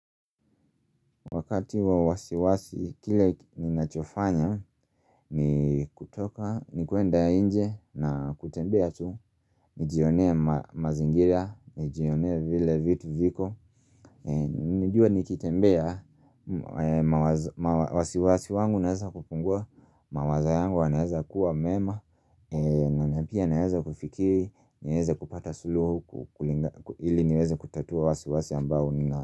Wakati wa wasiwasi, kile ninachofanya, ni kutoka, ni kuenda nje na kutembea tu. Nijionee mazingira, nijionea vile vitu viko. Najua nikitembea, wasiwasi wangu unaweza kupungua, mawazo yangu yanaweza kuwa mema, na pia naweza kufikiri, naweza kupata suluhu, ili niweze kutatua wasiwasi ambao ninao.